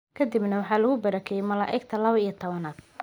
Kadibna waxaa lagu barakeeyay malaa'igta lawa iyo towanaad.